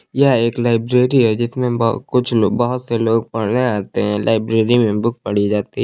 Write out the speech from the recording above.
यह एक लाइब्रेरी है जिसमें ब कुछ लोग बहुत से लोग पढ़ने आते हैं लाइब्रेरी में बुक पढ़ी जाती--